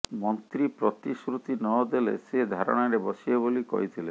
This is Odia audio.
ମନ୍ତ୍ରୀ ପ୍ରତିଶ୍ରୁତି ନଦେଲେ ସେ ଧାରଣାରେ ବସିବେ ବୋଲି କହିଥିଲେ